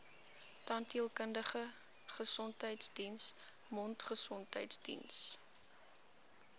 tandheelkundige gesondheidsdiens mondgesondheidsdiens